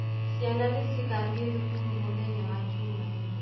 Ciana nĩ cigathiĩ thukuru mũthenya wa Jumanne